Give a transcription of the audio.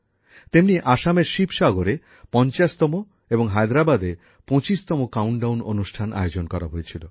তেমনি আসামের শিবসাগরে ৫০তম এবং হায়দ্রাবাদে ২৫তম কাউন্টডাউন অনুষ্ঠান আয়োজন করা হয়েছিল